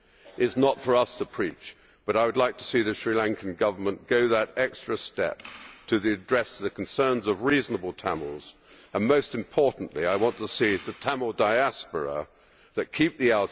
It is not for us to preach, but I would like to see the Sri Lankan Government go that extra step to address the concerns of reasonable Tamils and, most importantly, I want to see the Tamil diaspora that keep the